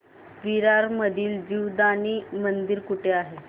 विरार मधील जीवदानी मंदिर कुठे आहे